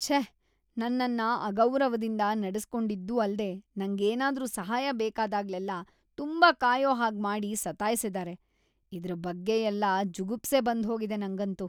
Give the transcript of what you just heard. ಛೇ.. ನನ್ನನ್ನ ಅಗೌರವದಿಂದ ನಡೆಸಿಕೊಂಡಿದ್ದೂ ಅಲ್ದೇ ನಂಗೇನಾದ್ರೂ ಸಹಾಯ ಬೇಕಾದಾಗ್ಲೆಲ್ಲಾ ತುಂಬಾ ಕಾಯೋ ಹಾಗ್‌ ಮಾಡಿ ಸತಾಯ್ಸಿದಾರೆ. ಇದ್ರ್‌ ಬಗ್ಗೆಯೆಲ್ಲ ಜುಗುಪ್ಸೆ ಬಂದ್ಹೋಗಿದೆ ನಂಗಂತೂ.